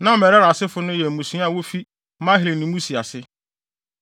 Na Merari asefo no yɛ mmusua a wofi Mahli ne Musi ase.